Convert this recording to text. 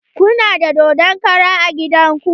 Kuna da dodon kara a gidan ku?